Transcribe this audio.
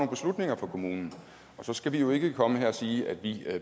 beslutninger for kommunen og så skal vi vi ikke komme her og sige at vi